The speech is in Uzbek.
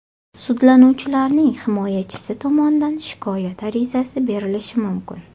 Sudlanuvchilarning himoyachisi tomonidan shikoyat arizasi berilishi mumkin.